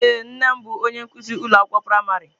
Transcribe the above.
Ee, nne m bụ onye nkuzi ụlọ akwụkwọ praịmarị.